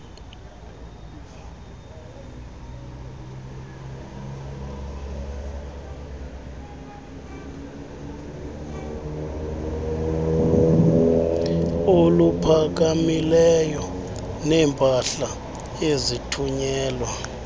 oluphakamileyo neempahla ezithunyelwa